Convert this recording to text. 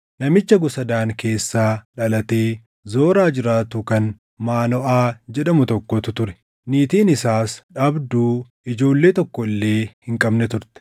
Namicha gosa Daan keessaa dhalatee Zoraa jiraatu kan Maanoʼaa jedhamu tokkotu ture; niitiin isaas dhabduu ijoollee tokko illee hin qabne turte.